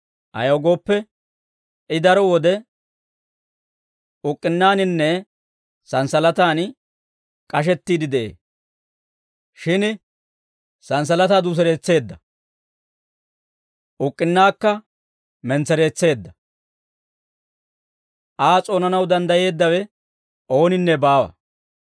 Ayaw gooppe, I daro wode uk'k'unaaninne santsalataan k'ashettiide de'ee; shin santsalataa duseretseedda; uk'k'unnaakka mentsereetseedda; Aa s'oonanaw danddayeeddawe ooninne baawa.